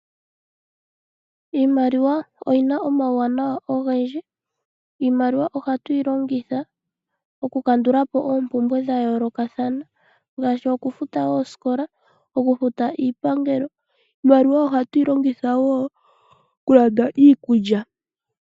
Iimaliwa oyina omauwanawa ogendji. Iimaliwa ohatu yi longitha okukandula po oompumbwe dha yoolokathana ngaashi okufuta oosikola nokufuta iipangelo. Iimaliwa ohatu yi longitha wo okulanda iikulya.